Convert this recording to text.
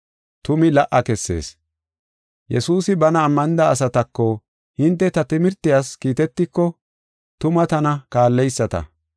Yesuusi bana ammanida asatako, “Hinte ta timirtiyas kiitetiko tuma tana kaalleyisata.